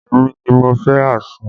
Èmi ni mo fẹ́ àsun